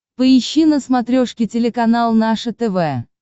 поищи на смотрешке телеканал наше тв